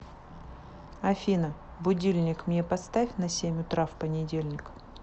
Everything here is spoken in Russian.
афина будильник мне поставь на семь утра в понедельник